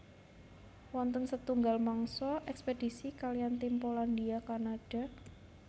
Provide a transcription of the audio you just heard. Wonten setunggal mangsa ekspedisi kaliyan tim Polandia Kanada